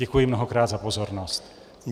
Děkuji mnohokrát za pozornost.